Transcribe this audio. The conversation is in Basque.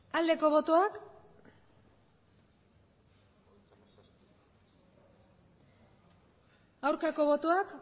aldeko botoak aurkako botoak